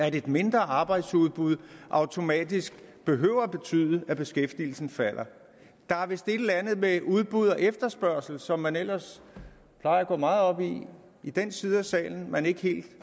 at et mindre arbejdsudbud automatisk behøver at betyde at beskæftigelsen falder der er vist et eller andet med udbud og efterspørgsel som man ellers plejer at gå meget op i i den side af salen man ikke helt